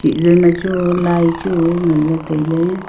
chih zoima chu lai chu nganley tailey.